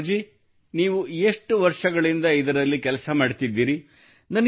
ಗೌರವ್ ಜೀ ನೀವು ಎಷ್ಟು ವರ್ಷಗಳಿಂದ ಇದರಲ್ಲಿ ಕೆಲಸ ಮಾಡುತ್ತಿದ್ದೀರಿ